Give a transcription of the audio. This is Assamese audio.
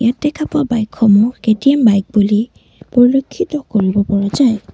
দেখা পোৱা বাইক সমূহ কে_টি_এম পৰিলক্ষিত কৰিব পৰা যায়।